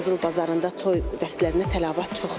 Qızıl bazarında toy dəstlərə təlabat çoxdur.